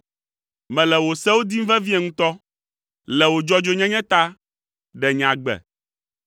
Mele wò sewo dim vevie ŋutɔ! Le wò dzɔdzɔenyenye ta, ɖe nye agbe.